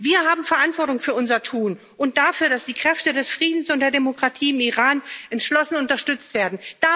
Wir haben Verantwortung für unser Tun und dafür, dass die Kräfte des Friedens und der Demokratie im Iran entschlossen unterstützt werden.